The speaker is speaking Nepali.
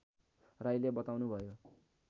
राईले बताउनुभयो